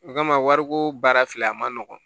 O kama wariko baara filɛ a man nɔgɔn